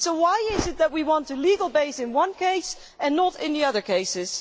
Why is it that we want a legal base in one case and not in the other cases?